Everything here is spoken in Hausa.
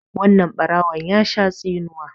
wannan barawon ya Sha tsinuwa